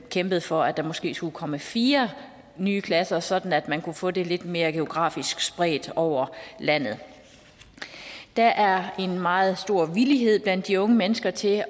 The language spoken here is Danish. kæmpet for at der måske skulle komme fire nye klasser sådan at man kunne få det lidt mere geografisk spredt over landet der er en meget stor villighed blandt de unge mennesker til